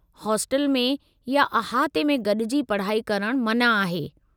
Hostel में या अहाते में गॾिजी पढ़ाई करणु मना आहे।